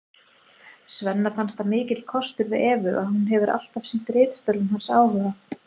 Svenna finnst það mikill kostur við Evu að hún hefur alltaf sýnt ritstörfum hans áhuga.